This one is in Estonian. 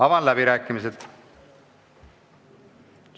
Avan läbirääkimised.